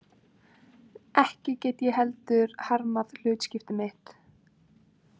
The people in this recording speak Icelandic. Ekki get ég heldur harmað hlutskipti mitt.